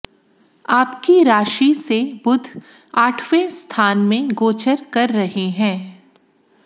आपकी राशि से बुध आठवें स्थान में गोचर कर रहे हैं